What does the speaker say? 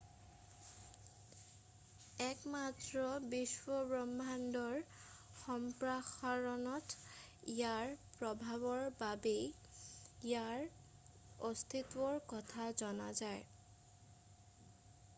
একমাত্ৰ বিশ্বব্ৰহ্মাণ্ডৰ সম্প্ৰসাৰণত ইয়াৰ প্ৰভাৱৰ বাবেই ইয়াৰ অস্তিত্বৰ কথা জনা যায়